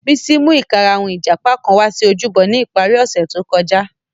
Bisi mu ikarahun ijapa kan wa si ojúbọ ni ipari ose to kọja.